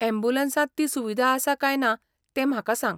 अॅम्ब्युलंसांत ती सुविदा आसा काय ना तें म्हाका सांग.